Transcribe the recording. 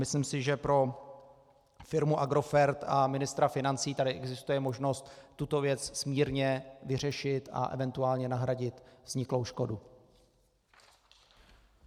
Myslím si, že pro firmu Agrofert a ministra financí tady existuje možnost tuto věc smírně vyřešit a eventuálně nahradit vzniklou škodu.